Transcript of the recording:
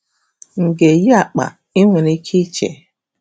M̀ ga-eyi akpa?’ ị nwere ike iche.